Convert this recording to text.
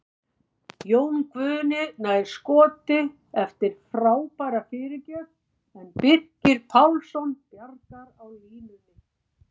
Jón Guðni nær skoti eftir frábæra fyrirgjöf en Birkir Pálsson bjargar á línunni!